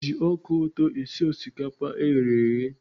E ji ọka ụtọ esi osikapa eghere eghe.